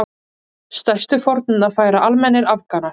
Stærstu fórnina færa almennir Afganar.